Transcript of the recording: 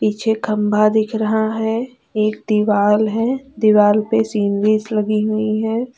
पीछे खंभा दिख रहा है एक दीवाल है दीवाल पे सीनरीज लगी हुई है।